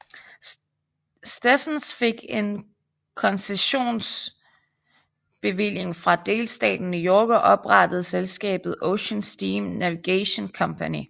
Stephens fik en konsessionsbevilling fra delstaten New York og oprettede selskabet Ocean Steam Navigation Company